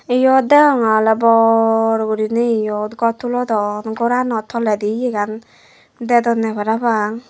eyot deonge ole bor gurine eyot gor tulodon gorano toledi yegan dedone parapang.